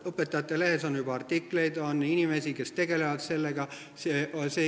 Õpetajate Lehes on juba artikleid ja on inimesi, kes tegelevad sellega.